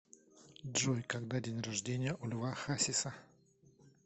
джой когда день рождения у льва хасиса